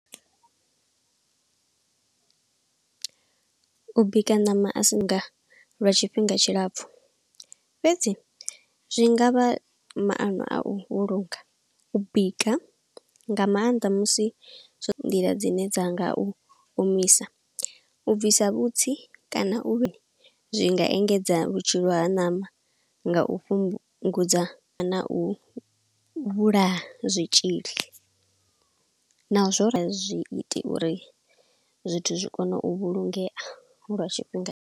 U bika ṋama a si nga lwa tshifhinga tshilapfhu, fhedzi zwi ngavha maano a u vhulunga. U bika nga maanḓa musi zwo nḓila dzine dza nga u omisa, u bvisa vhutsi kana u vhe, zwi nga engedza vhutshilo ha ṋama nga u fhungudza na u vhulaya zwitzhili. Naho zwo rali, a zwi iti uri zwithu zwi kone u vhulungea lwa tshifhinga.